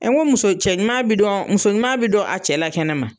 Ɛ nko muso, cɛ ɲuman bɛ dɔn, muso ɲuman bɛ dɔn a cɛ la kɛnɛ ma.